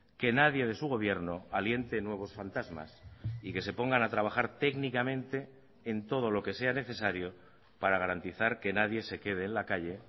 que nadie de su gobierno aliente nuevos fantasmas y que se pongan a trabajar técnicamente en todo lo que sea necesario para garantizar que nadie se quede en la calle